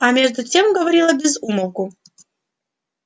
а между тем говорила без умолку